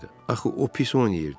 Axı o pis oynayırdı.